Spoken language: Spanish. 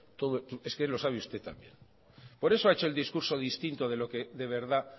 todo es que lo sabe usted también por eso ha hecho el discurso distinto de lo que de verdad de